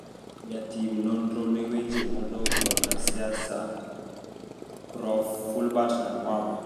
Jatim nonro ne weche modok korka siasa Prof Fulbert Namwamba